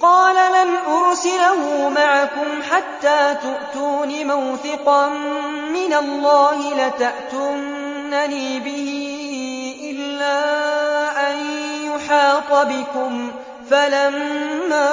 قَالَ لَنْ أُرْسِلَهُ مَعَكُمْ حَتَّىٰ تُؤْتُونِ مَوْثِقًا مِّنَ اللَّهِ لَتَأْتُنَّنِي بِهِ إِلَّا أَن يُحَاطَ بِكُمْ ۖ فَلَمَّا